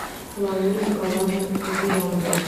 лауре николаевне зыряновой